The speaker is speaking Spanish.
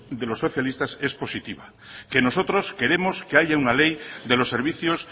de los socialistas es positiva que nosotros queremos que haya una ley de los servicios